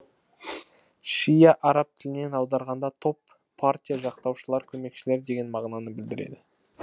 шиа араб тілінен аударғанда топ партия жақтаушылар көмекшілер деген мағынаны білдіреді